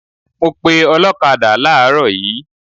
I called a motor cyclist this morning